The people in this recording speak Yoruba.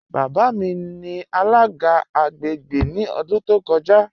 Baba mi ni alaga agbègbè ni ọ̀dún tó kọ́ja.